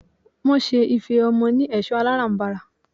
Wọ́n ṣe ife ọmọ ni ẹ̀ṣọ́ alárànbarà.